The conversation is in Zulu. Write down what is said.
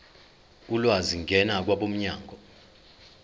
ulwazi ngena kwabomnyango